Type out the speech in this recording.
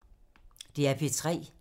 DR P3